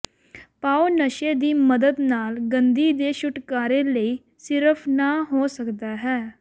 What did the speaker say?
ਪਾਓ ਨਸ਼ੇ ਦੀ ਮਦਦ ਨਾਲ ਗੰਦੀ ਦੇ ਛੁਟਕਾਰੇ ਲਈ ਸਿਰਫ ਨਾ ਹੋ ਸਕਦਾ ਹੈ